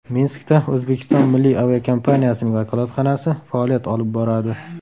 Minskda O‘zbekiston milliy aviakompaniyasining vakolatxonasi faoliyat olib boradi.